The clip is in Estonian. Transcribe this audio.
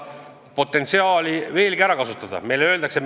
Mis iganes see põhjus on, ma arvan, et eesmärgipärane tegevus viib sihile varem või hiljem.